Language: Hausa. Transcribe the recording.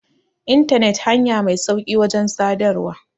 intanet hanya Mai sauƙi wajen sadarwa